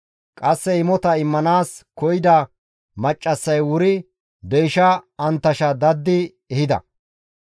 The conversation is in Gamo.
Qasseka imota immanaas koyida maccassay wuri deysha anttasha daddi ehida.